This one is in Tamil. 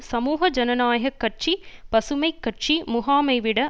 சமூக ஜனநாயக கட்சி பசுமை கட்சி முகாமை விட